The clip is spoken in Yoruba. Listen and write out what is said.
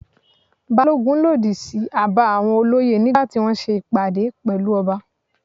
Balogun lòdì sí àbá àwọn olóyè nígbà tí wọ́n ṣe ìpàdé pẹ̀lú ọba.